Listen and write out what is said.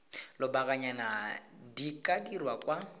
lobakanyana di ka dirwa kwa